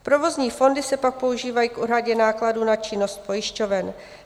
Provozní fondy se pak používají k úhradě nákladů na činnost pojišťoven.